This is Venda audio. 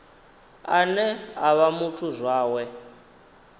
ane a vha muthu zwawe